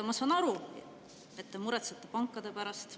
Ma saan aru, et te muretsete pankade pärast.